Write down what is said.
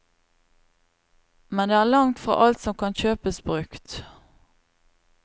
Men det er langt fra alt som kan kjøpes brukt.